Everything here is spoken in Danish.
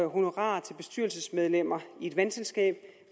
og honorarer til bestyrelsesmedlemmer i et vandselskab